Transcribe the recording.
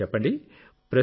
సరే చెప్పండి